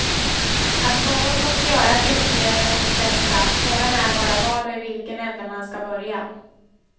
Att något måste göras inser väl de flesta, frågan är bara vad och i vilken ände man skall börja.